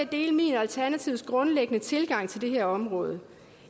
dele min og alternativets grundlæggende tilgang til det her område